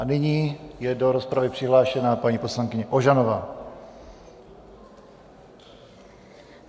A nyní je do rozpravy přihlášena paní poslankyně Ožanová.